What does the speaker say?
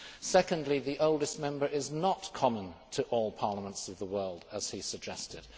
Secondly, the oldest member is not common to all parliaments of the world, as he suggested.